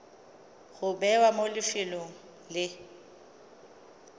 go bewa mo lefelong le